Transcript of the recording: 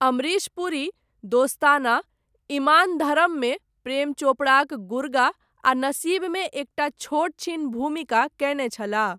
अमरीश पुरी, दोस्ताना, इमान धरममे प्रेम चोपड़ाक गुर्गा आ नसीबमे एकटा छोट छीन भूमिका कयने छलाह।